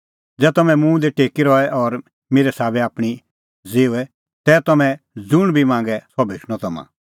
ज़ै तम्हैं मुंह दी टेकी रहे और मेरै साबै आपणीं ज़िऊए तै तम्हैं ज़ुंण बी मांगे सह भेटणअ तम्हां